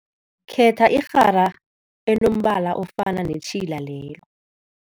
Khetha irhara enombala ofana netjhila lelo.